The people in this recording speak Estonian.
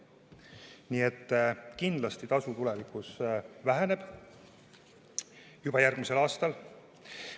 Nii et kindlasti tasu tulevikus väheneb, juba järgmisel aastal.